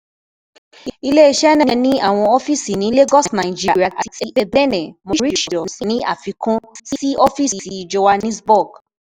Ile-iṣẹ naa ni awọn ọfiisi ni Lagos Nigeria ati Ebene Mauritius, ni afikun si ọfiisi Johannesburg